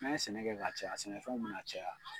N'an ye sɛnɛ kɛ ka caya sɛnɛfɛnw bɛna caya.